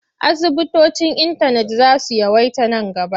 Asibitocin intanet za su yawaita man gaba.